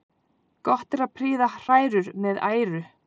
Gott er að prýða hrærur með æru.